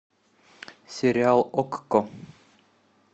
сериал окко